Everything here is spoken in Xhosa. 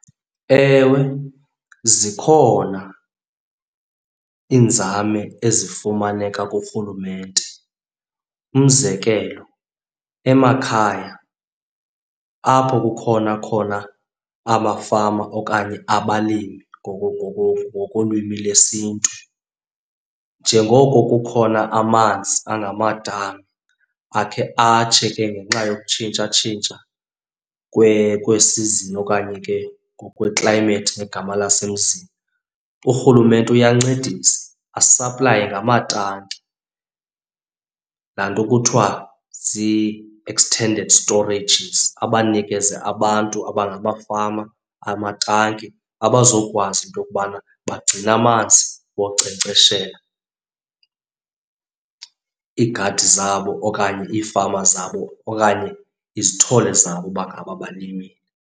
Ewe, zikhona iinzame ezifumaneka kurhulumente. Umzekelo, emakhaya apho kukhona khona amafama okanye abalimi ngokolwimi lesiNtu, njengoko kukhona amanzi angamadami akhe atshe ke ngenxa yokutshintshatshintsha kweesizini okanye ke ngokweklayimethi ngegama lasemzini. Urhulumente uyancedisa asaplaye ngamatanki, laa nto kuthiwa zii-extended storages. Abanikeze abantu abangamafama amatanki abazokwazi into yokubana bagcine amanzi wonkcenkceshela iigadi zabo okanye iifama zabo okanye izithole zabo uba ngaba balimile.